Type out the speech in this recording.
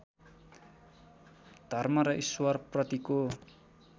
धर्म र र्इश्वरप्रतिको